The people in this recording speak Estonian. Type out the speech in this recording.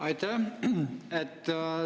Aitäh!